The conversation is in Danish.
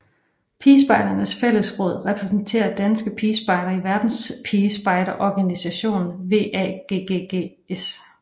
Pigespejdernes fællesråd repræsenterer danske pigespejdere i versdenspigespejderorganisationen WAGGGS